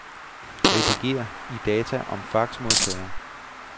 Rediger i data om faxmodtager.